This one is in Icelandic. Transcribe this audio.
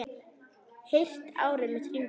Heyrt árið hringt út.